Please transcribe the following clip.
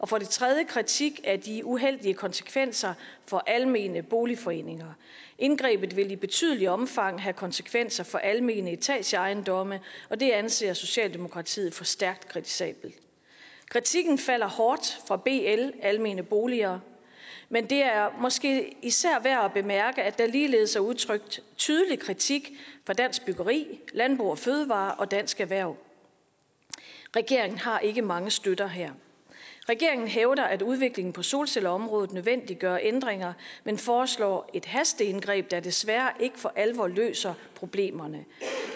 for det tredje kritik af de uheldige konsekvenser for almene boligforeninger indgrebet vil i betydeligt omfang have konsekvenser for almene etageejendomme og det anser socialdemokratiet for stærkt kritisabelt kritikken falder hårdt fra bl danmarks almene boliger men det er måske især værd at bemærke at der ligeledes er udtrykt tydelig kritik fra dansk byggeri landbrug fødevarer og dansk erhverv regeringen har ikke mange støtter her regeringen hævder at udviklingen på solcelleområdet nødvendiggør ændringer man foreslår et hasteindgreb der desværre ikke for alvor løser problemerne